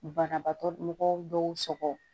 Banabaatɔ mɔgɔw dɔw sɔgɔ